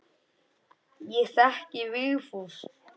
Ég þekki Vigfús.